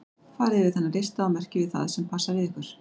Farið yfir þennan lista og merkið við það sem passar við ykkur.